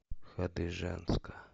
хадыженска